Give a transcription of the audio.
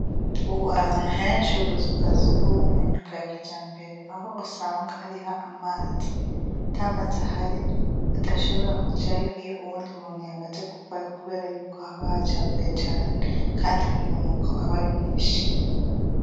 Ubu ahantu henshi ubuzu bwa sugumwe nubwa kijambere aho usanga hariho amazi . Atamazi ahari udashobora kujayo iyo uwundi muntu yamaze kuvayo kubera yuko haba hacafuye cane Kandi umunuko aba ari mwinshi.